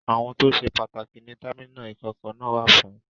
Àwọn tó ṣe pàtàkì ni támínà ìkọ̀kọ̀ náà wà fún.